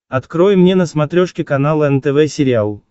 открой мне на смотрешке канал нтв сериал